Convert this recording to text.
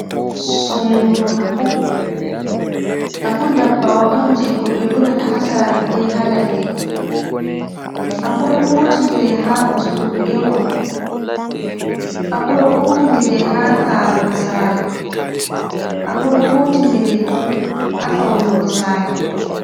Sonduru Aku ndabbawa'on, je ko ɓe Durata ha Sare be ha Ladde, Aku ɗo huti ndire ha Ustugo gewɗum, Aku ɗo huti ndire ha Karugo Sare, Aku ɗo huti ndire ha Faunugo Sare.